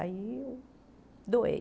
Aí eu doei.